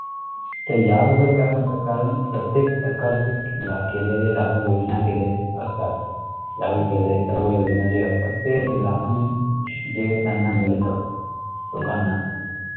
तर या बद्दल काय म्हणतात कारण प्रत्येक सरकार चे ला केलेले लागु योजना केलेले असतात. लागु केलेलें सर्व योजना जे असतात ते लाभांश जे त्यांना मिळतं. लोकांना